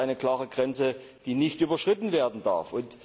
Hier ist eine klare Grenze, die nicht überschritten werden darf.